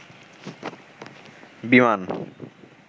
বিমান